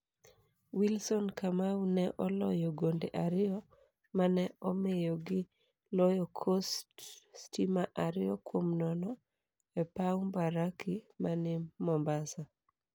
Wilson Kamau ne oloyo gonde ariyo mane omiyo gi loyo Coast stima ariyo kuom nono e paw mbaraki mani Mombasa.